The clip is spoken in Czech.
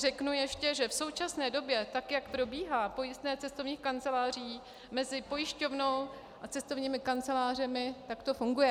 Řeknu ještě, že v současné době tak, jak probíhá pojistné cestovních kanceláří mezi pojišťovnou a cestovními kancelářemi, tak to funguje.